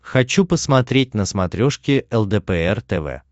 хочу посмотреть на смотрешке лдпр тв